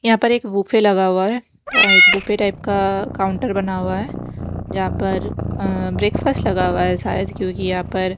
यहां पर एक बूफे लगा हुआ है एक बूफे टाइप का काउंटर बना हुआ है जहां पर अ ब्रेकफास्ट लगा हुआ है शायद क्योंकि यहां पर--